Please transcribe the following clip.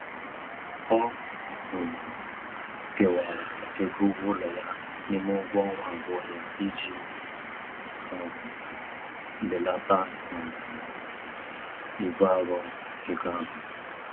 Ọ um kewara ego ụgwọụlọ ya n'ime ụgwọọnwa abụọ ya iji um belata um ibu arọ ego ahụ.